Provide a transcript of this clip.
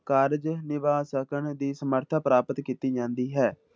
ਕਾਰਜ ਨਿਭਾ ਸਕਣ ਦੀ ਸਮਰਥਾ ਪ੍ਰਾਪਤ ਕੀਤੀ ਜਾਂਦੀ ਹੈ।